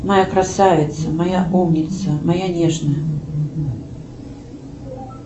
моя красавица моя умница моя нежная